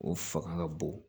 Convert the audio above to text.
O fanga ka bon